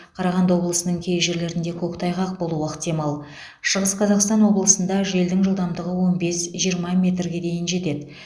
қарағанды облысының кей жерлерде көктайғақ болуы ықтимал шығыс қазақстан облысында желдің жылдамдығы он бес жиырма метрге дейін жетеді